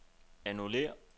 annullér